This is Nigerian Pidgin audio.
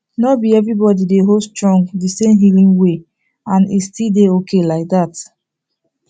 nor be everybody dey hold strong the same healing way and e still dey okay like that